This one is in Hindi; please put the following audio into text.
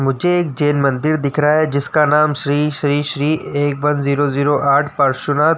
मुझे एक जैन मंदिर दिख रहा है। जिसका नाम श्री श्री श्री एक वन जीरो जीरो आठ पार्श्वनाथ --